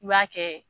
I b'a kɛ